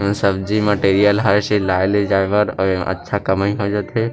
अ सब्जी मटेरियल हर चीज लाय ले जाय बर अउ अच्छा कमई हो जथे।